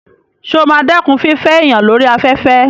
Sọ ma dẹ́kun fífẹ́ èèyàn lórí afẹ́fẹ́?